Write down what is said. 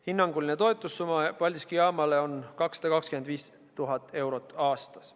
Hinnanguline toetussumma Paldiski jaamale on 225 000 eurot aastas.